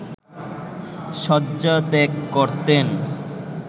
শয্যা ত্যাগ করতেন